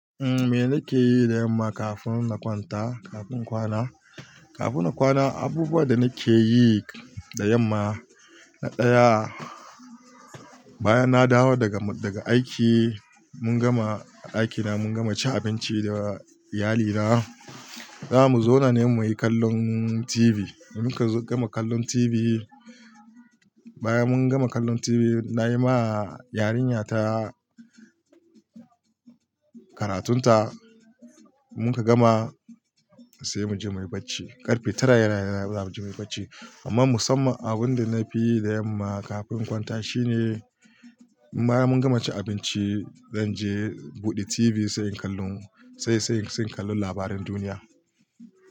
Umm, me nake yi da yamma kafin na kwanta, kafin kwana? Kafin na kwana, abubuwan da nake yi da yamma, na ɗaya, bayan na dawo daga, daga aiki, mun gama, a aiki na mun gama ci abinci da iyalina, zamu zauna ne muyi kallon TV. Mun ka gama kallon TV, bayan mun gama kallon TV, nayi ma yarinya ta karatun ta, mun ka gama sai muje muyi bacci. Karfe tara yana za mu je muyi bacci. Amma musamman abun da nafi yi da yamma kafin kwanta shine bayan mun gama cin abinci, zan je in buɗe TV sai kallon, sai, sai, sai kallon labaran duniya.